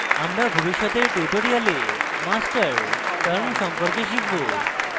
আমরা ভবিষ্যতের tutorials master term সম্পর্কে শিখব